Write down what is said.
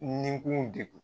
Nin kun degun